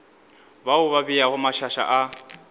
bao ba beago mašaša a